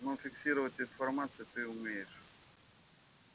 но фиксировать информацию ты умеешь